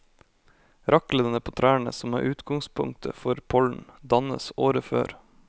Raklene på trærne som er utgangspunktet for pollen, dannes året før.